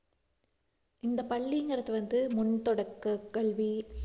இந்தப் பள்ளிங்கிறது வந்து முன் தொடக்கக் கல்வி